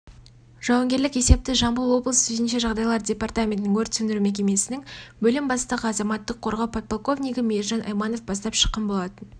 жауынгерлік есепті жамбыл облысы төтенше жағдайлар департаментінің өрт сөндіру мекемесінің бөлім бастығы азаматтық қорғау подполковнигі мейржан айманов бастап шыққан болатын